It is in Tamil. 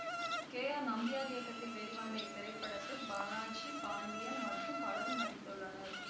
கே ஆர் நம்பியார் இயக்கத்தில் வெளிவந்த இத்திரைப்படத்தில் பாலாஜி பாண்டியன் மற்றும் பலரும் நடித்துள்ளனர்